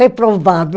Reprovado.